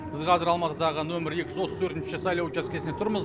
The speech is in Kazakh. біз қазір алматыдағы нөмірі екі жүз отыз төртінші сайлау учаскесінде тұрмыз